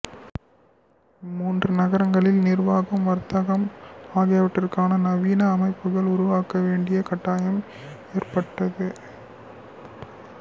இம்மூன்று நகரங்களிலும் நிர்வாகம் வர்த்தகம் ஆகியவற்றுக்காக நவீன அமைப்புகளை உருவாக்க வேண்டிய கட்டாயம் ஏற்பட்டது